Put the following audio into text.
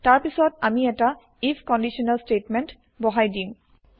তাৰ পিছত আমি এটা আইএফ কন্দিচনেল স্তেটমেন্ত বহাই দিম